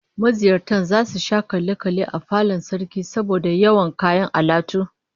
Maziyarta zasu sha kalle kalle a falon Sarkin saboda yawan kayan alatu